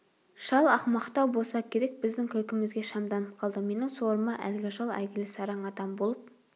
шал ақымақтау болса керек біздің күлкімізге шамданып қалды менің сорыма әлгі шал әйгілі сараң адам болып